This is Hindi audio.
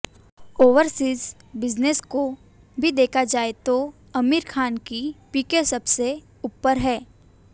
ओवरसीज बिजनेस को भी देखा जाए तो आमिर खान की पीके सबसे ऊपर है